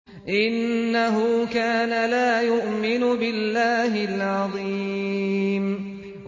إِنَّهُ كَانَ لَا يُؤْمِنُ بِاللَّهِ الْعَظِيمِ